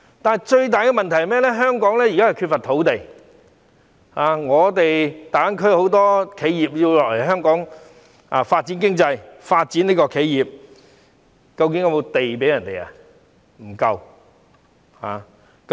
然而，最大的問題是，香港現時缺乏土地，大灣區很多企業要來香港發展，究竟是否有足夠土地可提供給他們？